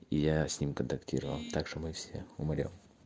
я с ним контактировал так что мы все умрём